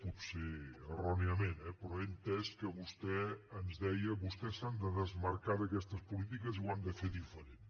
potser erròniament eh però he entès que vostè ens deia vostès s’han de desmarcar d’aquestes polítiques i ho han de fer diferent